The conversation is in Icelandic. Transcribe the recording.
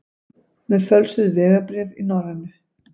Með fölsuð vegabréf í Norrænu